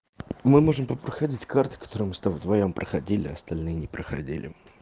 мы можем проходить карты которые мы с тобой вдвоём проходили остальные не проходили